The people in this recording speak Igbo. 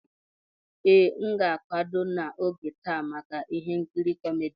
Ee, a ga m akwado n'oge taa maka ihe nkiri kómedy